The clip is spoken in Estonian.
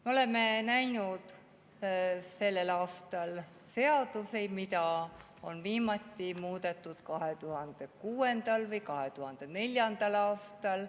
Me oleme näinud sellel aastal seadusi, mida on viimati muudetud 2006. või 2004. aastal.